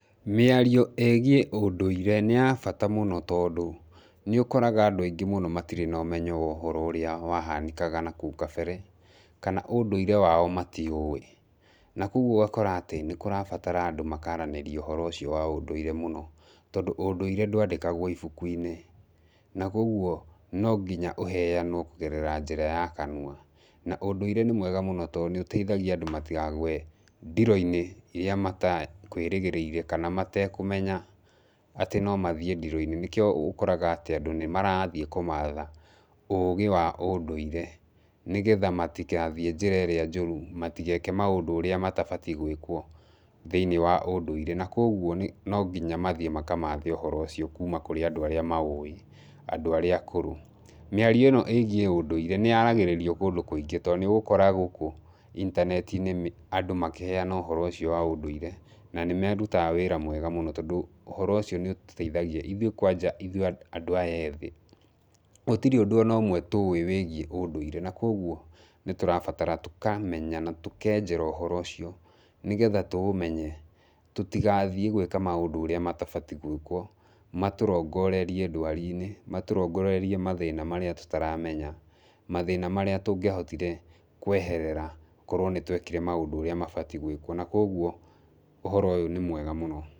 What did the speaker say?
Mĩario ĩgiĩ ũndũirĩ nĩ ya bata mũno tondũ, nĩ ũkoraga andũ angĩ mũno matirĩ nomenyo wa ũhoro ũrĩa wahanĩkaga nakũu kabere, kana ũndũirĩ wao matiũĩ, na kwoguo ũgakora atĩ nĩ kũrabatara andũ makaranĩria ũhoro ũcio wa ũndũirĩ mũno, tondũ ũndũirĩ ndwandĩkagwo ibuku-inĩ, na kwoguo nonginya ũheyanwo kũgerera njĩra ya kanua, na ũndũirĩ nĩ mwega mũno to nĩ ũteithagia andũ matikagwe ndiro-inĩ iria matekwĩrĩgĩrĩire, kana matekũmenya, atĩ nomathiĩ ndĩro-inĩ, nĩkio ũkoraga atĩ andũ nĩ marathiĩ kũmatha ũgĩ wa ũndũirĩ, nĩgetha matigathiĩ njĩra ĩrĩa njũru, matigeke maũndũ ũrĩa matabatiĩ gwĩkwo thĩinĩ wa ũndũirĩ, na kwoguo nĩ nonginya mathiĩ makamathe ũhoro ũcio kuuma kũrĩa andũ arĩa maũĩ, andũ arĩa akũrũ, mĩario ĩno ĩgiĩ ũndũirĩnĩ yaragĩrĩrio kũndũ kũingĩ, to nĩ ũgũkora gũkũ intaneti-inĩ andũ makĩheyana ũhoro ũcio wa ũndũirĩ na nĩ marutaga wĩra mwega mũno, tondũ ũhoro ũcio nĩ ũtũteithagia ithuĩ kwanja ithuĩ andũ aya ethĩ, gũtirĩ ũndũ ona ũmwe tũĩ wĩgiĩ ũndũirĩ, na kwoguo nĩ tũrabatara tũkamenya, na tũkenjera ũhoro ũcio, nĩgetha tũũmenye tũtigathiĩ gwĩka maũndũ ũrĩa matabatiĩ gwĩkwo, matũrongorerie ndawari-inĩ, matũrongorerie mathĩna marĩa tũtaramenya, mathĩna marĩa tungĩahotire kweherera korwo nĩ twekire maũndũ ũrĩa mabatiĩ gwĩkwo, na kwoguo ũhoro ũyũ nĩ mwega mũno.